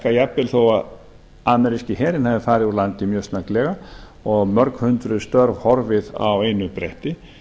að jafnvel þó ameríski herinn hefði farið úr landi mjög snögglega og mörghundruð störf horfið á einu bretti